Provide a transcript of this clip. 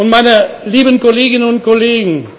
Meine lieben Kolleginnen und Kollegen.